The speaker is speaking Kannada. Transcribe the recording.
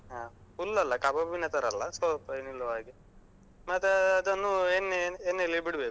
ಹಾ full ಅಲ್ಲ ಕಬಾಬಿನ ತರ ಅಲ್ಲ, ಸ್ವಲ್ಪ ನಿಲ್ಲುವ ಹಾಗೆ. ಮತ್ತೆ ಅದನ್ನು ಎಣ್ಣೆ ಎಣ್ಣೆಯಲ್ಲಿ ಬಿಡ್ಬೇಕು.